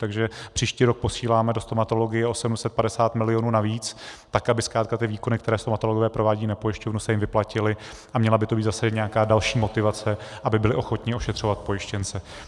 Takže příští rok posíláme do stomatologie o 750 milionů navíc, tak aby zkrátka ty výkony, které stomatologové provádějí na pojišťovnu, se jim vyplatily, a měla by to být zase nějaká další motivace, aby byli ochotni ošetřovat pojištěnce.